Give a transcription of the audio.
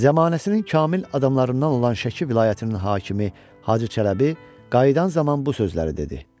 Zəmanəsinin kamil adamlarından olan Şəki vilayətinin hakimi Hacı Çələbi qayıdan zaman bu sözləri dedi: